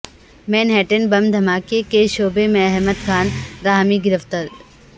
مین ہیٹن بم دھماکے کے شبہے میں احمد خان راحمی گرفتار